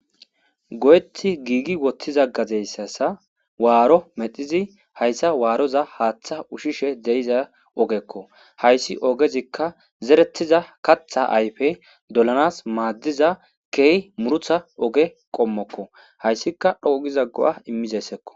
go7eti giigi wottiza gazeyssasa waaro medhizi hayssa waaroza haaththa ushishe de7iza ogekko hayssi ogezikka zerettiza katha ayfe dolanas maaddiza key murutha oge qommokko hayssika dhoqugizaggo7a immizessekko